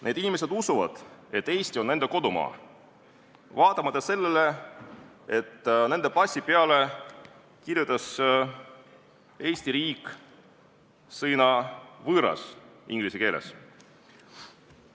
Need inimesed usuvad, et Eesti on nende kodumaa, vaatamata sellele, et nende passi peale kirjutas Eesti riik sõna "võõras" inglise keeles.